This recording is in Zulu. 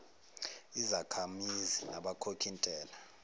izakhamizi nabakhokhi ntela